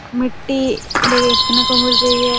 मिट्टी देखने को मिल रही हैं।